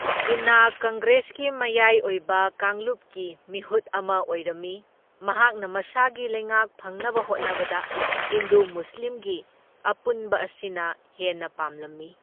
ꯖꯤꯟꯅꯥ ꯀꯪꯒ꯭ꯔꯦꯁꯀꯤ ꯃꯌꯥꯢ ꯑꯣꯏꯕ ꯀꯥꯡꯂꯨꯞꯀꯤ ꯃꯤꯍꯨꯠ ꯑꯃ ꯑꯣꯏꯔꯝꯃꯤ, ꯃꯍꯥꯛꯅ ꯃꯁꯥꯒꯤ ꯂꯩꯉꯥꯛ ꯐꯪꯅꯕ ꯍꯣꯠꯅꯕꯗ ꯍꯤꯟꯗꯨ ꯃꯨꯁꯂꯤꯝꯒꯤ ꯑꯄꯨꯟꯕ ꯑꯁꯤꯅ ꯍꯦꯟꯅ ꯄꯥꯝꯂꯝꯃꯤ꯫